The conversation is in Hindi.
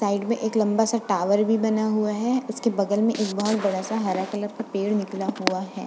साइड में एक लंबा सा टॉवर भी बना हुआ है। इसके बगल में एक बहोत बड़ा सा हरा कलर का पेड़ निकला हुआ है।